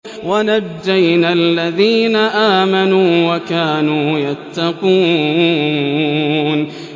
وَنَجَّيْنَا الَّذِينَ آمَنُوا وَكَانُوا يَتَّقُونَ